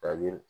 Kabini